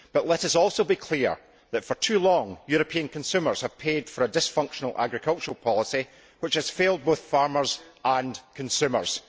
Let us also be clear that, for too long, European consumers have paid for a dysfunctional agricultural policy which has failed both farmers and consumers.